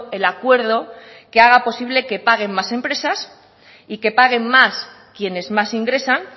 el acuerdo que haga posible que paguen más empresas y que paguen más quienes más ingresan